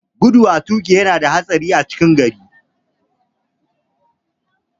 Gudu a toƙi yana da haɗari a cikin gari.